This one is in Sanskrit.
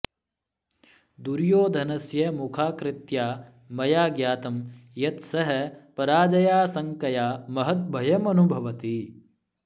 दुर्योधनस्य मुखाकृत्या मया ज्ञातं यत् सः पराजयाशङ्कया महद् भयमनुभवति